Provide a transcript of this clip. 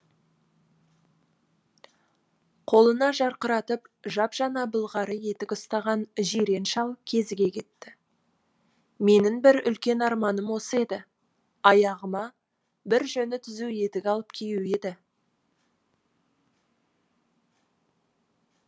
қолына жарқыратып жап жаңа былғары етік ұстаған жирен шал кезіге кетті менің бір үлкен арманым осы еді аяғыма бір жөні түзу етік алып қию еді